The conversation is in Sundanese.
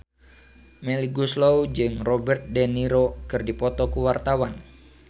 Melly Goeslaw jeung Robert de Niro keur dipoto ku wartawan